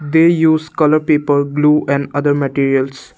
they use colour people blue and other materials.